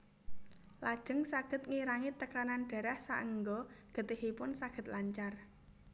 Lajeng saged ngirangi tekanan darah saéngga getihipun saged lancar